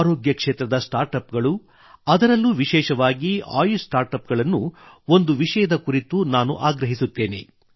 ಆರೋಗ್ಯ ಕ್ಷೇತ್ರದ startup ಗಳು ಅದಲ್ಲೂ ವಿಶೇಷವಾಗಿ ಆಯುಷ್ ಸ್ಟಾರ್ಟ್ ಅಪ್ ಗಳನ್ನು ಒಂದು ವಿಷಯದ ಕುರಿತು ನಾನು ಆಗ್ರಹಿಸುತ್ತೇನೆ